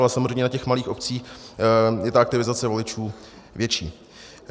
Ale samozřejmě na těch malých obcích je ta aktivizace voličů větší.